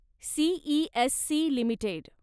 CESC limited